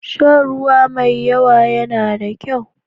Shan ruwa mai yawa yana da kyau.